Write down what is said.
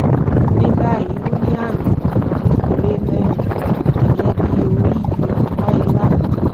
ní báyìí ó ní àmì pupa kékeré mẹ́rin (ìyẹn bí orí ọ̀pá ìlà)